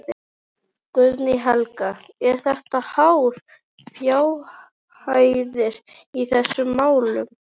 Guðný Helga: Eru þetta háar fjárhæðir í þessum málum?